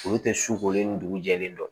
Olu tɛ su kolen ni dugu jɛlen don